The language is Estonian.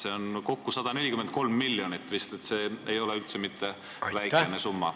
See on vist kokku 143 miljonit, mis ei ole üldse mitte väikene summa.